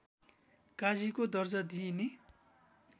काजीको दर्जा दिइने